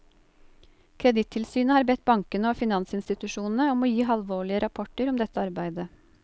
Kredittilsynet har bedt bankene og finansinstitusjonene om å gi halvårlige rapporter om dette arbeidet.